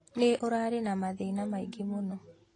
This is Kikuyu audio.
Nĩ ũrarĩ na mathĩna maingĩ mũno